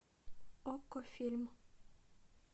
окко фильм